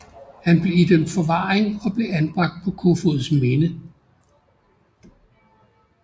Han blev idømt forvaring og blev anbragt på Kofoedsminde